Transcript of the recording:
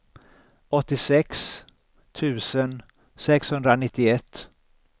åttiosex tusen sexhundranittioett